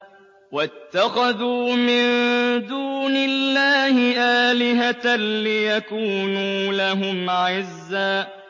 وَاتَّخَذُوا مِن دُونِ اللَّهِ آلِهَةً لِّيَكُونُوا لَهُمْ عِزًّا